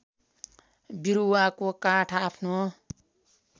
बिरुवाको काठ आफ्नो